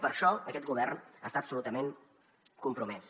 per això aquest govern està absolutament compromès